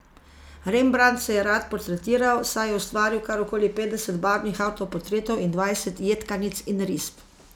Rembrandt se je rad portretiral, saj je ustvaril kar okoli petdeset barvnih avtoportretov in dvajset jedkanic in risb.